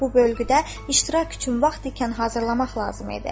Bu bölgüdə iştirak üçün vaxt ikən hazırlamaq lazım idi.